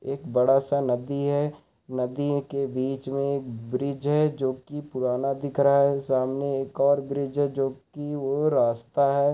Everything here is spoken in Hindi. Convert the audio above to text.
एक बड़ा सा नदी है नदी के बीच में ब्रिज है जोकि पुराना दिख रहा है सामने एक और ब्रिज है जोकि वो रास्ता है।